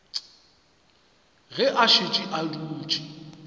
ge a šetše a dutše